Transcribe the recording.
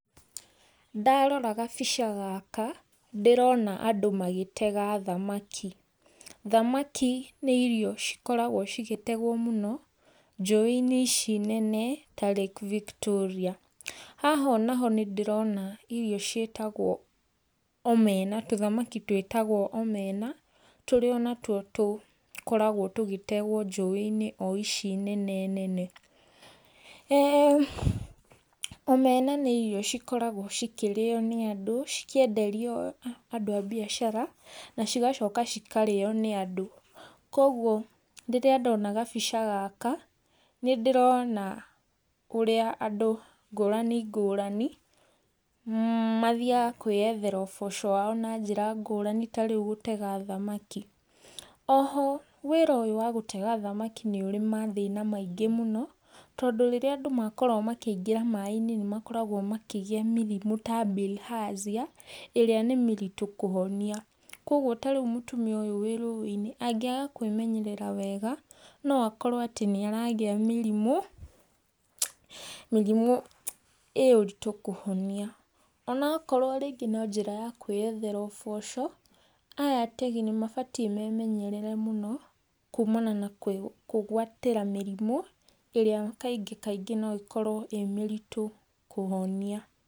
Ndarora gabica gaka ndĩrona andũ magĩtega thamaki. Thamaki nĩ irio cikoragwo cigĩtegwo mũno njũĩ-inĩ ici nene ta Lake Victoria. Haha ona ho nĩndĩrona irio ciĩtagwo omena, tũthamaki twĩtagwo omena, tũrĩa onatuo tũkoragwo tũgĩtegwo njũĩ-inĩ o ici nene nene. Omena nĩ irio cikoragwo cikĩrĩyo nĩ andũ, cikenderio andũ a biacara na cigacoka cikarĩyo nĩ andũ. Koguo rĩrĩa ndona kabica gaka, nĩndĩrona ũrĩa andũ ngũrani ngũrani mathiyaga kwĩyethera ũboco wao na njĩra ngũrani ta rĩu gũtega thamaki. Oho wĩra ũyũ wa gũtega thamaki nĩũrĩ mathĩna maingĩ mũno, tondũ rĩrĩa andũ makorwo makĩingĩra maaĩ-inĩ nĩmakoragwo makĩgĩa mĩrimũ ta bilharzia ĩrĩa nĩ mĩritũ kũhonia. Koguo ta rĩu mũtumia ũyũ wĩ rũĩ-inĩ angĩaga kũĩmenyerera wega no akorwo atĩ nĩaragĩa mĩrimũ, mĩrimũ ĩ ũritũ kũhonia onakorwo rĩngĩ no njĩra ya kwĩyethera ũboco aya ategi nĩmabatiĩ memenyerere mũno kumana na kwĩgwatĩra mĩrimũ ĩrĩa kaingĩ kaingĩ no ĩkorwo ĩrĩ mĩritũ kũhonia.